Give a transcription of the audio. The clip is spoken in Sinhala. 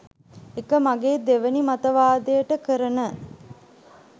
ඒක මගේ දෙවනි මතවාදයට කරන.